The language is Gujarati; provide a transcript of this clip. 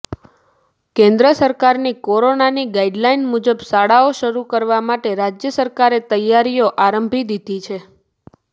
કેન્દ્ર સરકારની કોરોનાની ગાઈડલાઈન મુજબ શાળાઓ શરૂ કરવા માટે રાજ્ય સરકારે તૈયારીઓ આરંભી દીધી છે